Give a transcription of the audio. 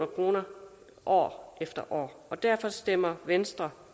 kroner år efter år og derfor stemmer venstre